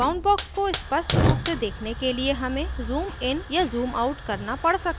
boundbox को स्पष्ट रूप से देखने के लिए हमें zoomइन या zoomout करना पड़ सकता है